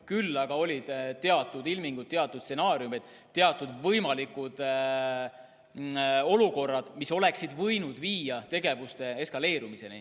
Küll aga olid teatud ilmingud, teatud stsenaariumid, teatud võimalikud olukorrad, mis oleksid võinud viia tegevuste eskaleerumiseni.